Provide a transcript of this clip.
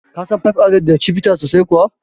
Ka san five alive da Chivita sosai kuwa?